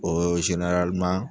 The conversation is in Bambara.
Ooo